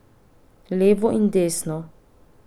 Levo in desno.